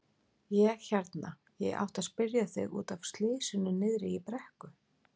Ég hérna. ég átti að spyrja þig. út af slysinu niðri í brekku.